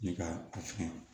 Ne ka a fɛn